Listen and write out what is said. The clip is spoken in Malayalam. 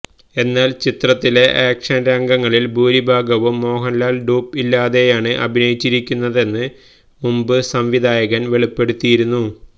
എന്നാല് ചിത്രത്തിലെ ആക്ഷന് രംഗങ്ങളില് ഭൂരിഭാഗവും മോഹന്ലാല് ഡ്യൂപ് ഇല്ലാതെയാണ് അഭിനയിച്ചിരിക്കുന്നതെന്ന് മുമ്പ് സംവിധായകന് വെളിപ്പെടുത്തിയിരുന്നു